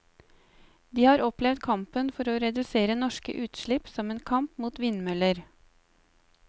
De har opplevd kampen for reduserte norske utslipp som en kamp mot vindmøller.